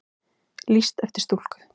Lýst eftir stúlku